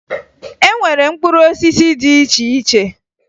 E nwere mkpụrụ osisi dị iche iche